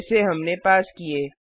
जैसे हमने पास किए